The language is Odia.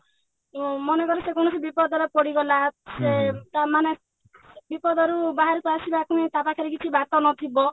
ଉଁ ମନେକର ସେ କୌଣସି ବିପଦରେ ପଡିଗଲା ସେ ମାନେ ବିପଦରୁ ବାହାରକୁ ଆସିବା ପାଇଁ ତା ପାଖରେ କିଛି ବାଟ ନଥିବ